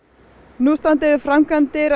nú standa yfir framkvæmdir